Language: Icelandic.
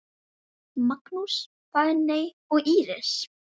Magnús, Fanney og Íris.